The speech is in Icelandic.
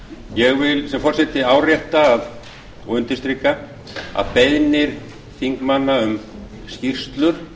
ég vil sem forseti árétta og undirstrika að beiðnir þingmanna um skýrslur